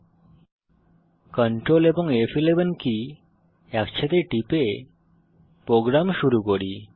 এখন কন্ট্রোল এবং ফ11 কি একসাথে টিপে প্রোগ্রাম শুরু করি